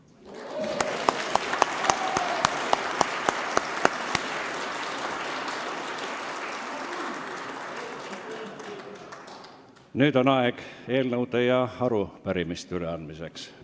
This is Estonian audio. Nüüd on aeg eelnõude ja arupärimiste üleandmiseks.